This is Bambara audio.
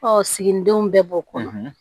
siginidenw bɛɛ b'o kɔ